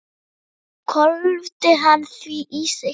Svo hvolfdi hann því í sig.